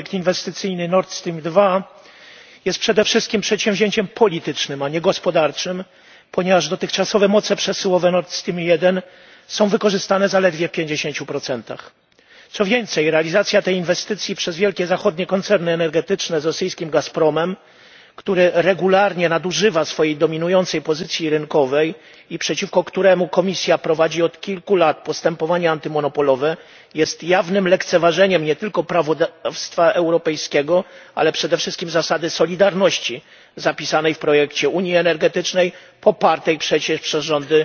Panie Przewodniczący! Panie Komisarzu! Projekt inwestycyjny Nord Stream 2 jest przede wszystkim przedsięwzięciem politycznym, a nie gospodarczym, ponieważ dotychczasowe moce przesyłowe Nord Stream 1 są wykorzystane zaledwie w 50. Co więcej, realizacja tej inwestycji przez wielkie zachodnie koncerny energetyczne z rosyjskim Gazpromem, który regularnie nadużywa swojej dominującej pozycji rynkowej i przeciwko któremu Komisja prowadzi od kilku lat postępowanie antymonopolowe, jest jawnym lekceważeniem nie tylko prawodawstwa europejskiego, ale przede wszystkim zasady solidarności zapisanej w projekcie unii energetycznej, popartej przecież przez rządy